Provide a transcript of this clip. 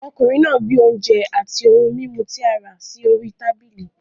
Ọkùnrin náà gbé oúnjẹ àti ohun mímu tí a rà náà sí orí tábìlì.